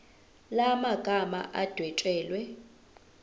la magama adwetshelwe